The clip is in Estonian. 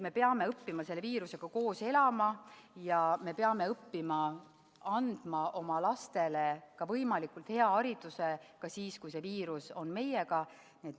Me peame õppima selle viirusega koos elama ja me peame õppima andma oma lastele võimalikult head haridust ka siis, kui viirus on meiega.